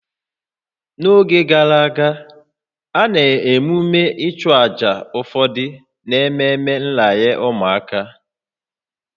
N'oge gara aga, a na-emume ichụaja ụfọdụ n'ememe nranye ụmụaka